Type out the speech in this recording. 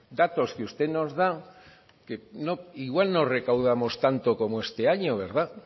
datos que usted nos da igual no recaudamos tanto como este año verdad